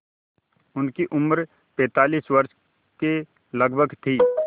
उनकी उम्र पैंतालीस वर्ष के लगभग थी